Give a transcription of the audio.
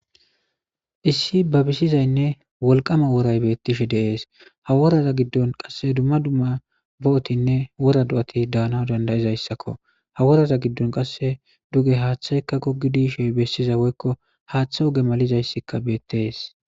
Issi babisizaynne wolqama woray beettes. Ha woraza giddon dumma dumma bo'otinne wora do'ati de'anaw danda'izayssakko. HA woraza giddon qasseka duge haaththey goggidi yishin bessiza woykko haaththe oge malizay beettes.